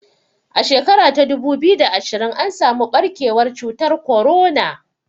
A shekara ta dubu biyu da ashirin an samu ɓarkewar cutar korona